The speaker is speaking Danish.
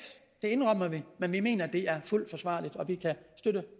det indrømmer vi men vi mener at det er fuldt forsvarligt og vi kan støtte